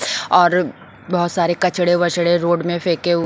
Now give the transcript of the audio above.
और बहुत सारे कचड़े वचड़े रोड में फेंके हुए --